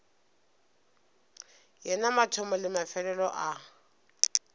yena mathomo le mefelelo a